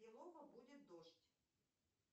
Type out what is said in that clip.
балово будет дождь